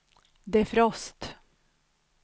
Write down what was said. defrost